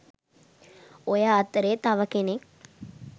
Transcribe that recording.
ඔය අතරේ තව කෙනෙක්